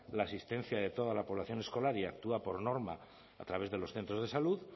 la asistencia de toda la población escolar y actúa por norma a través de los centros de salud